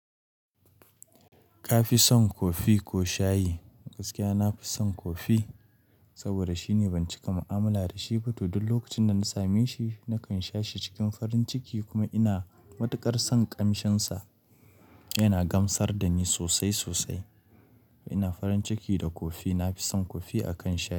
Kafi son kofi ko shayi? Gaskiya nafi son kofi saboda shine ban cika mu'amala da shi ba tun lokacin da na same shi. Nakan sha shi cikin farin ciki kuma ina matuƙar son ƙamshinsa. Yana gamsar da ni sosai sosai. Ina farin ciki da kofi. Nafi son kofi akan shayi.